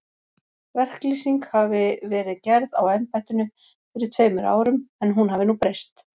Verklýsing hafi verið gerð á embættinu fyrir tveimur árum, en hún hafi nú breyst.